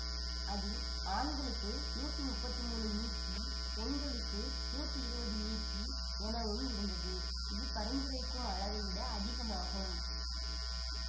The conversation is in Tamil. அதில் ஆண்களுக்கு நூற்றி முப்பத்தி மூன்று மிகிபெண்களுக்கு நூற்றி இருபது மிகி எனவும் இருந்தது இது பரிந்துரைக்கும் அளவை விட அதிகமாகும்